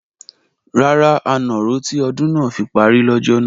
Rárá, a nà ró tí ọdún náà fi parí lọ́jọ́ náà.